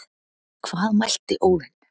Hvað mælti Óðinn,